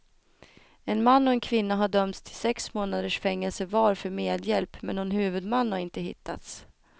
En man och en kvinna har dömts till sex månaders fängelse var för medhjälp, men någon huvudman har inte hittats.